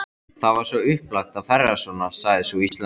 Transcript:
Það er svo upplagt að ferðast svona, sagði sú íslenska.